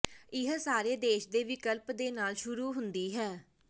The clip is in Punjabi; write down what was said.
ਇਹ ਸਾਰੇ ਦੇਸ਼ ਦੇ ਵਿਕਲਪ ਦੇ ਨਾਲ ਸ਼ੁਰੂ ਹੁੰਦੀ ਹੈ